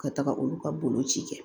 Ka taga olu ka boloci kɛ